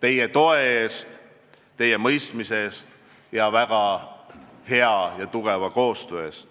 teie toe eest, teie mõistmise eest ning väga hea ja tugeva koostöö eest.